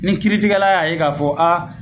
Ni kiri tijɛla y'a ye ka fɔ a